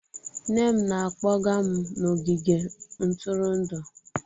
Nne m na-akpọga m n'ogige ntụrụndụ